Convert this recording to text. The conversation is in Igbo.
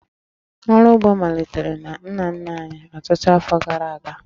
Ọrụ ugbo malitere na nna nna anyị ọtụtụ afọ gara aga